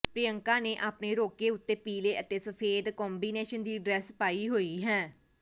ਪ੍ਰਿਯੰਕਾ ਨੇ ਆਪਣੇ ਰੋਕੇ ਉੱਤੇ ਪੀਲੇ ਅਤੇ ਸਫੇਦ ਕੰਬੀਨੇਸ਼ਨ ਦੀ ਡ੍ਰੈੱਸ ਪਾਈ ਹੋਈ ਹੈ